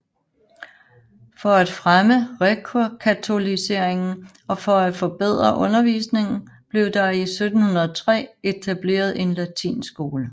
For at fremme rekatoliseringen og for at forbedre undervisning blev der i 1703 etableret en latinskole